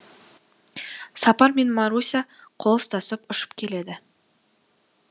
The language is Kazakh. сапар мен маруся қол ұстасып ұшып келеді